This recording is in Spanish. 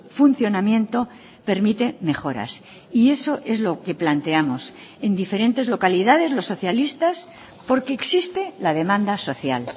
funcionamiento permite mejoras y eso es lo que planteamos en diferentes localidades los socialistas porque existe la demanda social